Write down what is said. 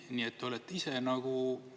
Nii et te olete ise nagu …